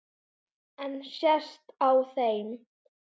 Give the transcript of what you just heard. En sést á þeim?